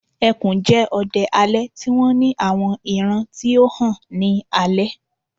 ẹkùn jẹ odẹ alẹ ti wọn ni awọn iran ti o han ni alẹ